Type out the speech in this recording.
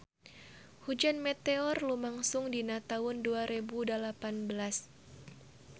Hujan meteor lumangsung dina taun dua rebu dalapan belas